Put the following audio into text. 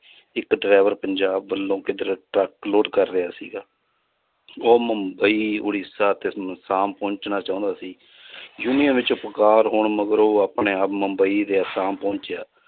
ਇੱਕ driver ਪੰਜਾਬ ਵੱਲੋਂ ਕਿੱਧਰੇ ਟਰੱਕ load ਕਰ ਰਿਹਾ ਸੀਗਾ ਉਹ ਮੁੰਬਈ ਉੜੀਸਾ ਤੇ ਆਸਾਮ ਪਹੁੰਚਣਾ ਚਾਹੁੰਦਾ ਸੀ ਹੋਣ ਮਗਰੋਂ ਉਹ ਆਪਣੇ ਆਪ ਮੁੰਬਈ ਤੇ ਆਸਾਮ ਪਹੁੰਚਿਆ